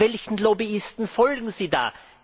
Welchen Lobbyisten folgen Sie da?